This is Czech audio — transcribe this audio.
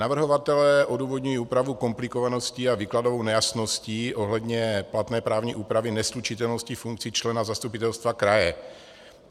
Navrhovatelé odůvodňují úpravu komplikovaností a výkladovou nejasností ohledně platné právní úpravy neslučitelnosti funkcí člena zastupitelstva kraje.